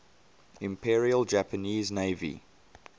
imperial japanese navy